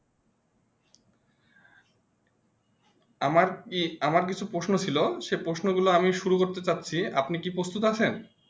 আমার কি আমার কিছু প্রশ্ন ছিল সেই প্রশ্ন গুলো আমি শুরু করতে যাচ্ছি আপনি কি উপস্থিত আছেন?